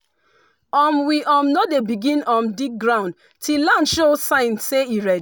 um we um no dey begin um dig ground till land show sign say e ready.